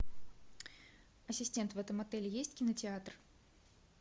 ассистент в этом отеле есть кинотеатр